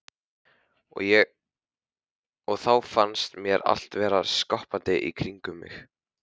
Og þá fannst mér allt vera skoppandi í kringum mig.